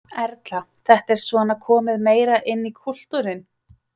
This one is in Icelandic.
Erla: Þetta er svona komið meira inn í kúltúrinn?